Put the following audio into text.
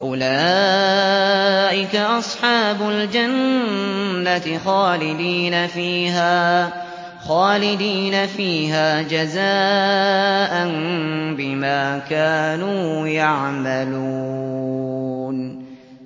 أُولَٰئِكَ أَصْحَابُ الْجَنَّةِ خَالِدِينَ فِيهَا جَزَاءً بِمَا كَانُوا يَعْمَلُونَ